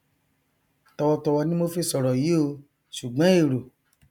tọwọ tọwọ ni mo fi sọrọ yí o ṣùgbọn èro